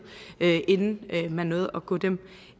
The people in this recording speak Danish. inden man nåede at gå dem